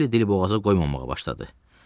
Salli dili boğaza qoymamağa başladı.